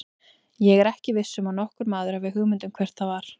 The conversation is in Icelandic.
Ég er ekki viss um að nokkur maður hafi hugmynd um hvert það var.